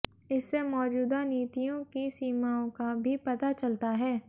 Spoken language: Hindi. इससे मौजूदा नीतियों की सीमाओं का भी पता चलता है